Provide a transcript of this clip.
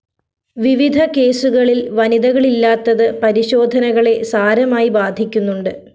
വിവിധ കേസുകളില്‍ വനിതകളില്ലാത്തത് പരിശോധനകളെ സാരമായി ബാധിക്കുന്നുണ്ട്